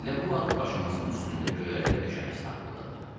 Elə bu vaxt başımızın üstündə göyərtə döşəməsi tabuldadı.